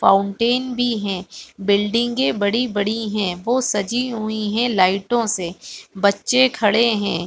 Fountain भी है बिल्डिंगे बड़ी-बड़ी है वो सजी हुई है लाइटो से बच्चे खड़े हैं।